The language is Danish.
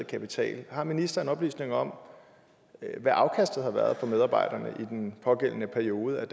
kapital har ministeren oplysninger om hvad afkastet har været for medarbejderne i den pågældende periode af